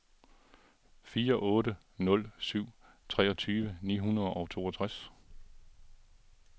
fire otte nul syv treogtyve ni hundrede og toogtres